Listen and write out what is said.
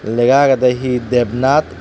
lega agedey hi dep nat.